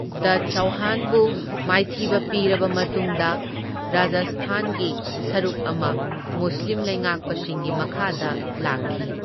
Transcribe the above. ꯗꯥ ꯆꯧꯍꯥꯟꯕꯨ ꯃꯥꯏꯊꯤꯕ ꯄꯤꯔꯕ ꯃꯇꯨꯡꯗ ꯔꯥꯖꯁꯊꯥꯟꯒꯤ ꯁꯔꯨꯛ ꯑꯃ ꯃꯨꯁꯂꯤꯝ ꯂꯩꯉꯥꯛꯄꯁꯤꯡꯒꯤ ꯃꯈꯥꯗ ꯂꯥꯛꯈꯤ꯫